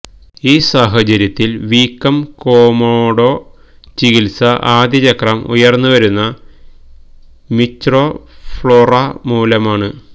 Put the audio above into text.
ഈ സാഹചര്യത്തിൽ വീക്കം കോമോഡോ ചികിത്സ ആദ്യ ചക്രം ഉയർന്നുവരുന്ന മിച്രൊഫ്ലൊര മൂലമാണ്